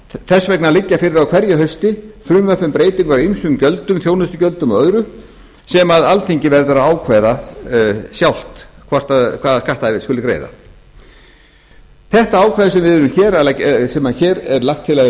þess vegna liggja fyrir á hverju hausti frumvörp um breytingar á ýmsum gjöldum þjónustugjöldum og öðru sem alþingi verður að ákveða sjálft hvaða skatta skuli greiða þetta sem hér er lagt til að verði